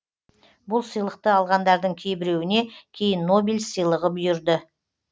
бұл сыйлықты алғандардың кейіреуіне кейін нобель сыйлығы бұйырды